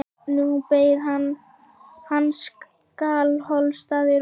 Nú beið hans Skálholtsstaður og hlý biskupsstofan.